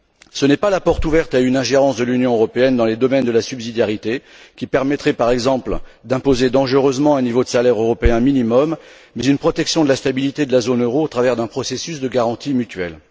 Ce n'est pas la porte ouverte à une ingérence de l'Union européenne dans les domaines de la subsidiarité qui permettrait, par exemple, d'imposer dangereusement un niveau de salaire européen minimum, mais une protection de la stabilité de la zone euro au travers d'un processus de garantie mutuelle.